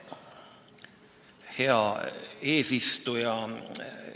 Hea eesistuja!